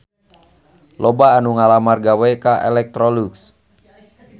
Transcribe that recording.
Loba anu ngalamar gawe ka Electrolux